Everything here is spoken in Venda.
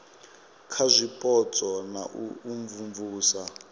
kha zwipotso na u imvumvusa